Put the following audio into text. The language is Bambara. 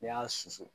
N'i y'a susu